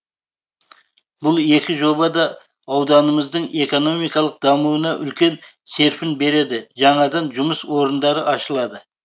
бұл екі жоба да ауданымыздың экономикалық дамуына үлкен серпін береді жаңадан жұмыс орындары ашылады